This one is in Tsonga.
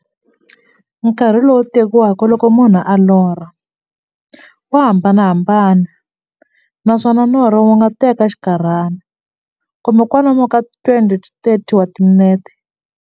Nkarhi lowu tekiwaka loko munhu a lorha, wa hambanahambana, naswona norho wu nga teka xinkarhana, kumbe kwalomu ka 20 to 30 wa timinete.